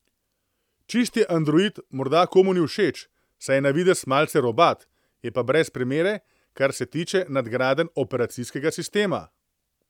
Čisti android morda komu ni všeč, saj je na videz malce robat, je pa brez primere, kar se tiče nadgradenj operacijskega sistema.